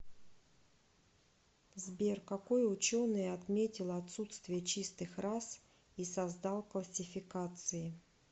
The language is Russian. сбер какой ученый отметил отсутствие чистых рас и создал классификации